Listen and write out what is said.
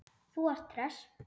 Þú ert hress!